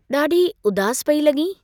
ॾाढी उदासु पेई लगीं ?